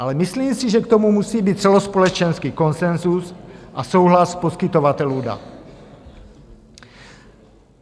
Ale myslím si, že k tomu musí být celospolečenský konsenzus a souhlas poskytovatelů dat.